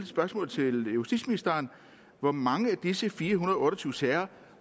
spørgsmål til justitsministeren hvor mange af disse fire hundrede og otte og tyve sager